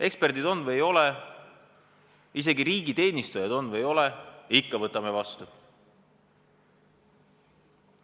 Eksperdid on või ei ole, isegi riigiteenistujad on või ei ole, ikka võtame vastu!